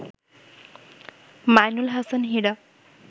Mainul Hasan Hira